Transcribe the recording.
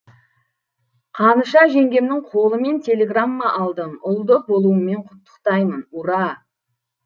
қаныша жеңгемнің қолымен телеграмма алдым ұлды болуыңмен құттықтаймын ура